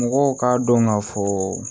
Mɔgɔw k'a dɔn ka fɔ